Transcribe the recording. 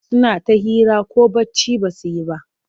Suna ta hira ko bacci ba su yi ba.